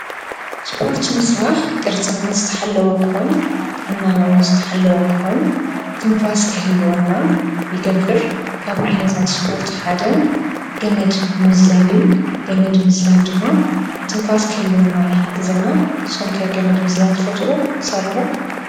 ስፖርቲ ምስራሕ ቅርፅና ዝተሓለወ ክኮን ጥዕናና እዉን ዝተሓለወ ክኮን ትንፋስ ክህልወና ይገብር ፤ ካብ ዓይነታት ስፖርት ሓደ ገመድ ምዝላል እዩ ፤ገመድ ምዝላል ድማ ትንፋስ ክህልወና ይሕግዘና። ንስኩም ከ ገመድ ምዝላል ትፈትዉ ዶ ትሰርሑ ዶ ?